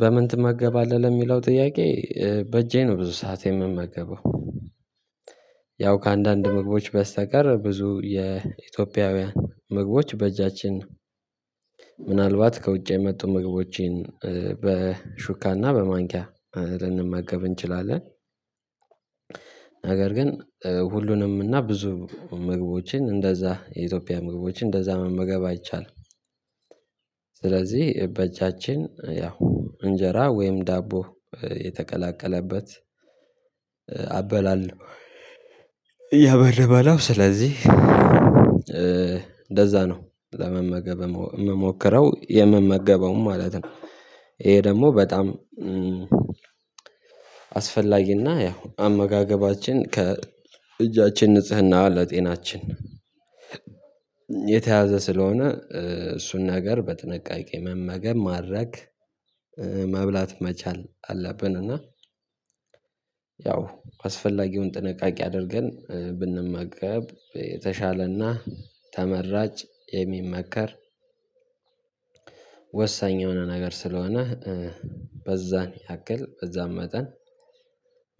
በምን ትመገባለህ ለሚለው ጥያቄ? በእጄ ነው ብዙ ሰዓት የምመገበው። ያው ከአንዳንድ ምግቦች በስተቀር ብዙ የኢትዮጵያውያን ምግቦች በእጃችን ምናልባት ከውጭ የመጡ ምግቦችን በሹካና በማንኪያ ልንመገብ እንችላለን። ነገር ግን ሁሉንም እና ብዙ ምግቦችን እንደዛ የኢትዮጵያ ምግቦች እንደዛ መመገብ አይቻልም። ስለዚህ በእጃችን ያው እንጀራ ወይም ዳቦ የተቀላቀለበት አበላለሁ። ያው የምበላው ስለዚህ እንደዛ ነው ለመመገብ የምሞክረው የምመገበውም ማለት ነው። ይሄ ደግሞ በጣም አስፈላጊና ያው አመጋገባችን ከ እጃችን ንጽህና ለጤናችን የተያዘ ስለሆነ እሱን ነገር በጥንቃቄ መመገብ ማድረግ መብላት መቻል አለብን። እና ያው አስፈላጊውን ጥንቃቄ አድርገን ብንመገብ የተሻለና ተመራጭ የሚመከር ያበረበለው። ስለዚህ እንደዛ ነው ለመመገብ የምሞክረው የምመገበውም ማለት ነው። ይሄ ደግሞ በጣም አስፈላጊና ያው አመጋገባችን ከ እጃችን ንጽህና ለጤናችን የተያዘ ስለሆነ እሱን ነገር በጥንቃቄ